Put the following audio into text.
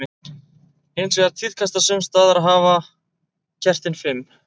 Hins vegar tíðkast það sums staðar að hafa kertin fimm.